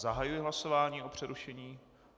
Zahajuji hlasování o přerušení...